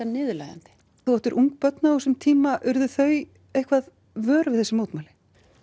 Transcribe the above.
niðurlægjandi þú áttir ung börn á þessum tíma urðu þau eitthvað vör við þessi mótmæli